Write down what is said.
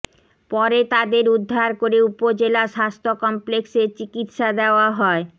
পরে তাদের উদ্ধার করে উপজেলা স্বাস্থ্য কমপ্লেক্সে চিকিৎসা দেওয়া হয়